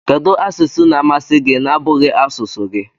Kedu asụsụ na amasi gi na abughi asụsụ gi?